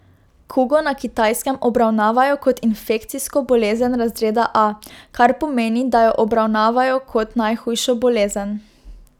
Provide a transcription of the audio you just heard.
Kugo na Kitajskem obravnavajo kot infekcijsko bolezen razreda A, kar pomeni, da jo obravnavajo kot najhujšo bolezen.